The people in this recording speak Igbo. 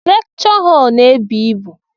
Lekchọ họl n'ebu ịbụ.